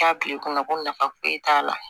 K'a bil'i kunna ko nafa foyi t'a la